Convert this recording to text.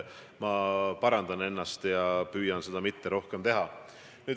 Ma parandan ennast ja püüan seda rohkem mitte teha.